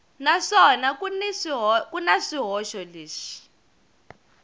naswona ku na swihoxo leswi